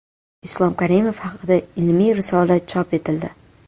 Islom Karimov haqida ilmiy risola chop etildi.